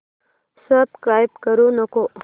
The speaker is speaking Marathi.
सबस्क्राईब करू नको